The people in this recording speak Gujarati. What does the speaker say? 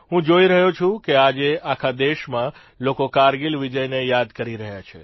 હું જોઇ રહ્યો છું કે આજે આખા દેશમાં લોકો કારગીલ વિજયને યાદ કરી રહ્યા છે